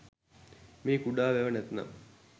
මේ කුඩා වැව නැත්නම්